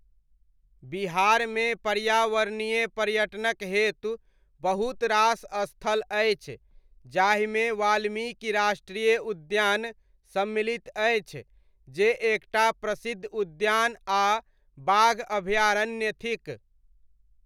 बिहारमे पर्यावरणीय पर्यटनक हेतु बहुत रास स्थल अछि, जाहिमे वाल्मीकि राष्ट्रीय उद्यान, सम्मलित अछि जे एक टा प्रसिद्ध उद्यान आ बाघ अभ्यारण्य थिक।